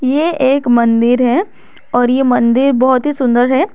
ये एक मंदिर है और ये मंदिर बहुत ही सुंदर है।